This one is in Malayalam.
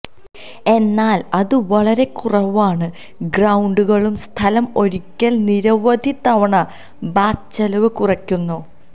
എന്നാൽ അത് വളരെ കുറവാണ് ഗ്രൌണ്ടുകളും സ്ഥലം ഒരിക്കൽ നിരവധി തവണ ബാത്ത് ചെലവ് കുറയ്ക്കുന്നു